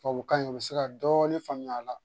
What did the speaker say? Tubabukan in u bɛ se ka dɔɔnin faamuya a la